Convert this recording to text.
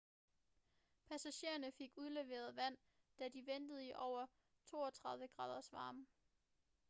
passagererne fik udleveret vand da de ventede i over 32 graders varme